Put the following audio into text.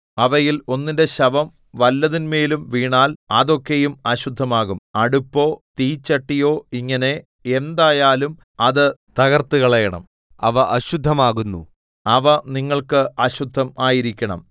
അവയിൽ ഒന്നിന്റെ ശവം വല്ലതിന്മേലും വീണാൽ അതൊക്കെയും അശുദ്ധമാകും അടുപ്പോ തീച്ചട്ടിയോ ഇങ്ങനെ എന്തായാലും അത് തകർത്തുകളയണം അവ അശുദ്ധം ആകുന്നു അവ നിങ്ങൾക്ക് അശുദ്ധം ആയിരിക്കണം